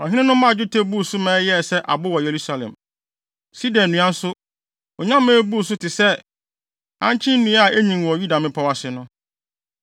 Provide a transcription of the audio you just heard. Ɔhene no maa dwetɛ buu so ma ɛyɛɛ sɛ abo wɔ Yerusalem. Sida nnua nso, onya ma ebuu ne so te sɛ ankye nnua a enyin wɔ Yuda mmepɔw ase no.